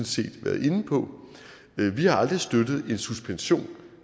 set været inde på vi har aldrig støttet en suspension